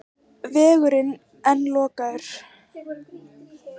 Vegurinn enn lokaður